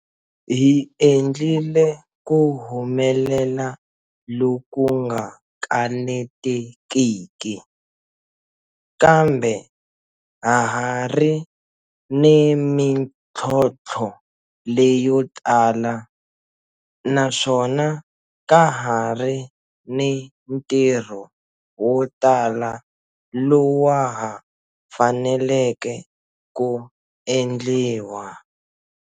Hi endlile ku humelela loku nga kanete kiki, kambe ha ha ri ni mitlhontlho leyotala naswona ka ha ri ni ntirho wo tala lowa ha faneleke ku endliwa.